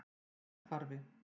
Fossahvarfi